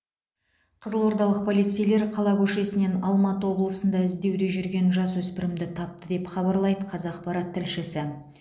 қызылордалық полицейлер қала көшесінен алматы облысында іздеуде жүрген жасөспірімді тапты деп хабарлайды қазақпарат тілшісі